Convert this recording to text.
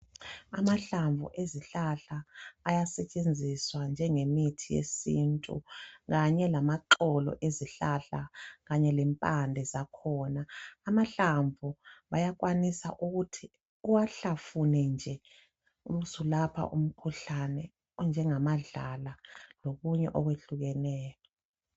Amahlamvu ezihlahla ayasetshenziswa njengemithi yesintu kanye lamaxolo ezihlahla kanye lempande zakhona. Amahlamvu bayakwanisa ukuthi uwahlafune nje ubusulapha umkhuhlane onjengamadlala lokunye okwehlukeneyo.